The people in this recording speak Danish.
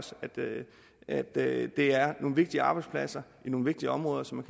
at det er nogle vigtige arbejdspladser i nogle vigtige områder som